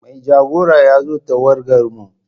Mai jagora ya zo tawagarmu.